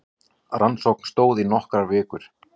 Rannsókn stóð í nokkrar vikur